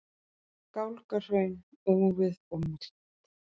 Gálgahraun, úfið og myrkt.